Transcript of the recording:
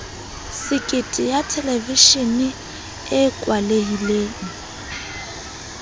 sekete ya thelevishene e kwalehileng